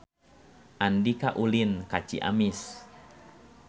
Andika ulin ka Ciamis